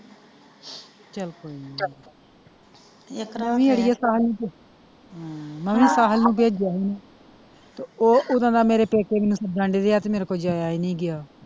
ਚਲ ਕੋਈ ਨੀ ਤਰਾਂ ਵੀ ਅੜੀਏ ਮੈਂ ਵੀ ਭੇਜਿਆ ਸੀ ਤੇ ਉਹ ਓਦੋ ਦਾ ਮੇਰੇ ਪੇਕੇ ਤੇ ਮੇਰੇ ਕੋਲੋਂ ਜਾਇਆ ਹੀ ਨਹੀਂ ਗਿਆ।